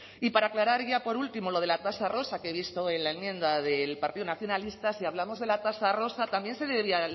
y para aclarar ya por último lo de la tasa rosa que he visto en la enmienda del partido nacionalistas si hablamos de la tasa rosa también se debería